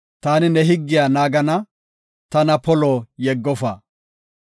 Ta ne higgiya naagana; tana polo yeggofa.